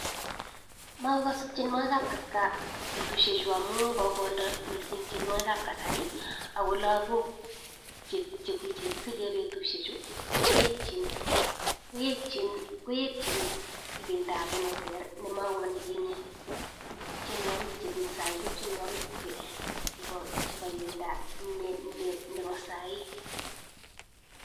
Makokase tienwakik ab kipkaa amuu kokondoo missing tienwakik ab kasarii ako langok chekisiche betushek chu koeching ibinda ne ter nemakonekinye ak tienwakik chemii saii ko tienwakik chepo ibinda nebo sai